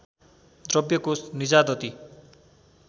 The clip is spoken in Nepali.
द्रव्य कोष निजादती